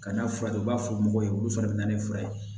Ka n'a furakɛ u b'a fɔ mɔgɔw ye olu fana bɛ na ni fura ye